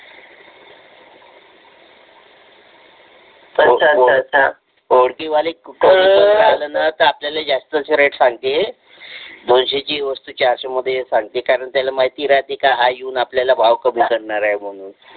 ओळखी वाले कुठेही गेला ना तरी आपल्याला जास्तीचे रेट सांगते दोनशे ची वस्तू चारशे मध्ये सांगते कारण त्याला माहिती राहते की हा येऊन राहिला भाव कमी करणार आहे म्हणून